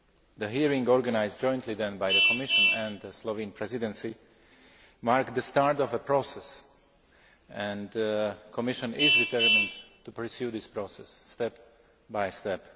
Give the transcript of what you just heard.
The hearing, organised jointly by the Commission and the Slovene Presidency, marked the start of a process, and the Commission is determined to pursue this process step by step.